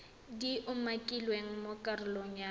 di umakilweng mo karolong ya